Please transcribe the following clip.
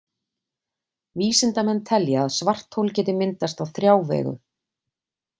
Vísindamenn telja að svarthol geti myndast á þrjá vegu.